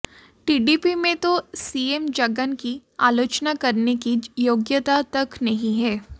TDP में तो CM Jagan की आलोचना करने की योग्यता तक नहीं है